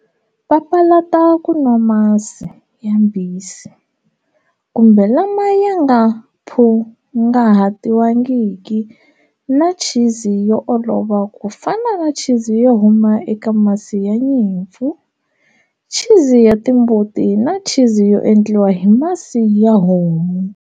Papalata ku nwa masi yambisi kumbe lama ya nga phungahatiwangiki na chizi yo olova ku fana na chizi yo huma eka masi ya nyimpfu, chizi ya timbuti na chizi yo endliwa hi masi ya homu.